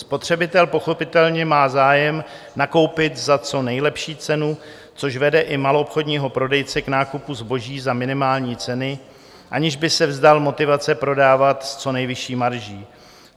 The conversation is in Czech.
Spotřebitel pochopitelně má zájem nakoupit za co nejlepší cenu, což vede i maloobchodního prodejce k nákupu zboží za minimální ceny, aniž by se vzdal motivace prodávat s co nejvyšší marží.